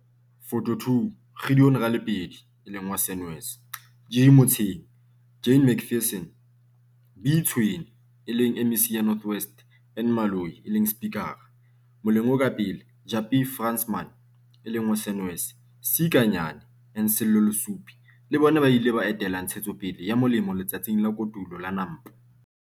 Photo 2. Gideon Ralepedie, Senwes, G. Motseng, Jane McPherson, B. Tswene, MEC, North West, N. Maloyi, Speaker, moleng o ka pele, Japie Fransman, Senwes, C. Kanyane and Sello Lesupi lle bona ba ile ba etela Ntshetsopele ya Molemi Letsatsing la Kotulo la Nampo.